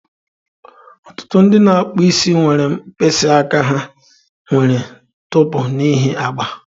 Ọtụtụ ndị na-akpụ isi nwere mkpịsị aka ha nwere ntụpọ n'ihi agba.